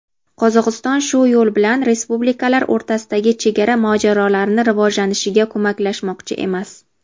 Qozog‘iston shu yo‘l bilan respublikalar o‘rtasidagi chegara mojarolarini rivojlanishiga ko‘maklashmoqchi emas.